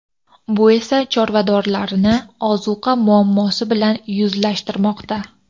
Bu esa chorvadorlarni ozuqa muammosi bilan yuzlashtirmoqda.